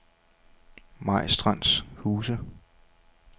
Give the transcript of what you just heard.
Majstrandshuse